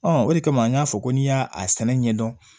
o de kama an y'a fɔ ko n'i y'a sɛnɛ ɲɛdɔn